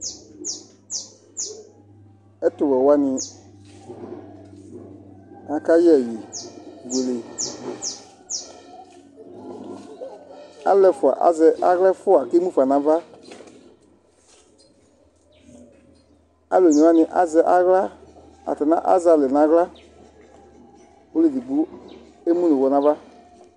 Ɛtuwɛ wani akayɛ ɛyi buele aluɛfua azɛ aɣla ɛfua kemu fa nu ava alu onewani atani azɛ aɣla atani azalɛ naɣla ɔluedigbo emu nu aɣla nava